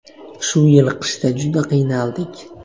Shu yil qishda juda qiynaldik.